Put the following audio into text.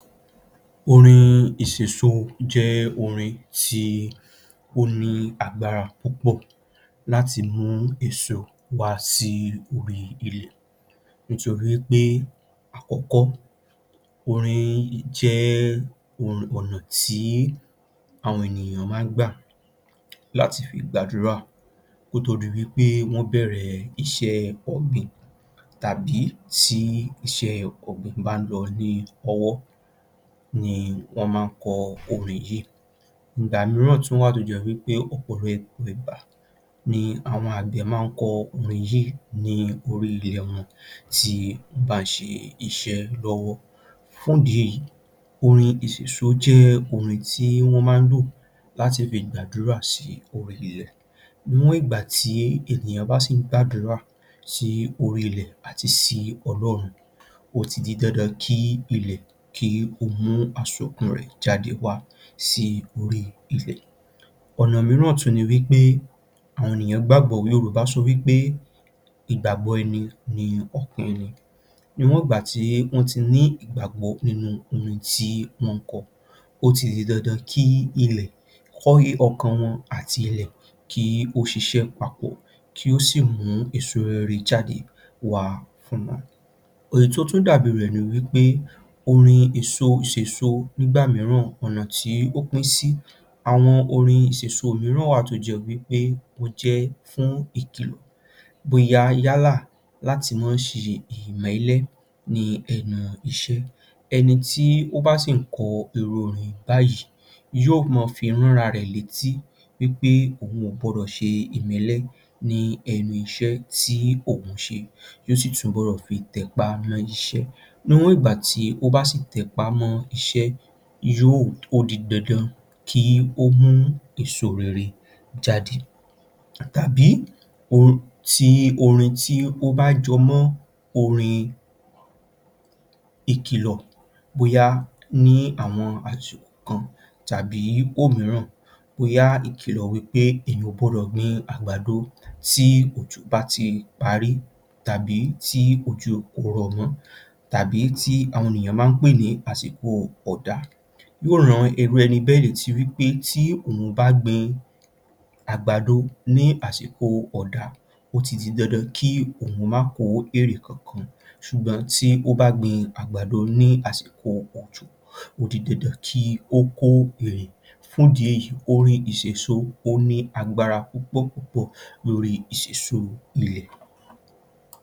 Orin ìsèso jẹ́ orin tí ó ní agbára púpọ̀ láti mú èso wá sí ilẹ̀ nítorí pé, àkọ́kọ́ orin jẹ́ ọ̀nà tí àwọn ènìyàn máa ń gbà láti fi gba àdúrà kò tó di wí pé wọ́n bẹ̀rẹ̀ iṣẹ́ ọ̀gbìn tàbí tí iṣẹ́ ọ̀gbìn bá ń lọ ní ọwọ́ ni wọ́n máa ń kọ orin yìí. Ìgbà mìíràn wá à tó tún jẹ́ wí pé ọ̀pọ̀lọpọ̀ ìgbà ni àwọn àgbẹ̀ máa ń kọ orin yìí lórí ilẹ̀ tí wọ́n bá ń ṣe iṣẹ́ lọ́wọ́, fún ìdí èyí orin ìsèso jẹ́ orin tí wọ́n máa ń lò láti fi gbàdúrà sí orí ilẹ̀, níwọ̀n ìgbà tí ènìyàn bá sì ń gbàdúrà sí orí ilẹ̀ àti sí Ọlọ́run ó ti di dandan kí ilẹ̀ kí ó mú àsokún rẹ̀ jáde wá sí orí ilẹ̀. Ọ̀nà mìíràn tún ni pé, àwọn ènìyàn gbàgbó, Yorùbá sọ wí pé ìgbàgbọ́ ẹni ni ọkàn ẹni, níwọ̀n ìgbà tí wọ́n ti ní ìgbàgbọ́ nínú orin tí wọ́n ń kọ, ó ti di dandan kí ọkàn wọn àti ilẹ̀ kó ṣiṣẹ́ papọ̀ kó sì mú èso rere jáde wá fún wọn. Èyí tó tún dàbí rẹ̀ ni wí pé ,orin èso sèso nígbà mìíràn, ọ̀nà tí ó pín sí, àwọn orin ìsèso mìíràn wá à tó jẹ́ wí pé ó jẹ́ fún ìkìlọ̀ bóyá yálà láti mọ́ ṣe ìmẹ́lẹ́ ní ẹnu iṣẹ́, ẹni tí ó bá sì ń kọrin irú orin báyìí yóò mọ fi rán ara rẹ̀ létí pé òun ò gbọdọ̀ ṣe ìmẹ́lẹ́ ní ẹnu nu iṣẹ́ tí òun ń ṣe, yóò sì tún túnbọ̀ tẹpá mọ́ iṣẹ́, níwọ̀n ìgbà tó bá sì tẹpá mọ́ iṣẹ́ yóò, ó di dandan kí ó mú èso rere jáde tàbí orin tí ó bá jẹ mọ́ ìkìlọ̀ ní àwọn àsìkò kan tàbí bóyá ìkìlọ̀ wí pé èèyàn ò gbọdọ̀ gbin àgbàdo tí òjò bá ti parí tàbí tí òjò kò rọ́ mọ́ tàbí tí àwọn ènìyàn máa ń pè ní àsìkò ọ̀dá, yóò ran irú ẹni bẹ́ẹ̀ létí wí pé tí òun bá gbin àgbàdo ní àsìkò ọ̀dá, ó ti di dandan kí òun máa kó èrè kankan, ṣùgbọ́n tí ó bá gbin àgbàdo ní àsìkò òjò ó di dandan kí ó kó èrè, fún ìdí èyí orin ìsèso ó ní agbára púpọ̀ púpọ̀ lórí ìsèso ilẹ̀.